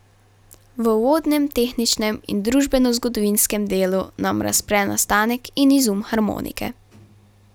V uvodnem, tehničnem in družbenozgodovinskem delu nam razpre nastanek in izum harmonike.